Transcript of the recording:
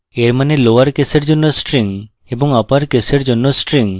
এর means lower কেসের জন্য string এবং upper কেসের জন্য string